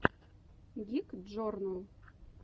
гик джорнал